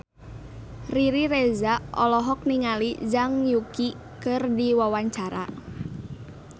Riri Reza olohok ningali Zhang Yuqi keur diwawancara